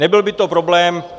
Nebyl by to problém.